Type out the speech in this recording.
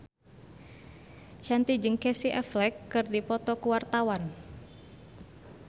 Shanti jeung Casey Affleck keur dipoto ku wartawan